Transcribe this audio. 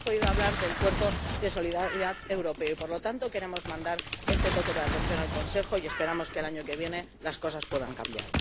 No hemos podido hablar del Cuerpo Europeo de Solidaridad y, por lo tanto, queremos mandar este toque de atención al Consejo y esperamos que el año que viene las cosas puedan cambiar.